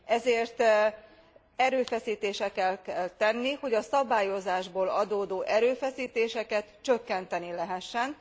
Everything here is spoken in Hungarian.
Ezért erőfeszítéseket kell tenni, hogy a szabályozásból adódó erőfeszítéseket csökkenteni lehessen.